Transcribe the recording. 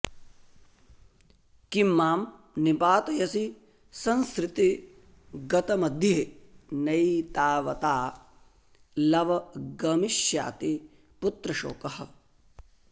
किं मां निपातयसि संसृतिगर्तमध्ये नैतावता लव गमिष्याति पुत्रशोकः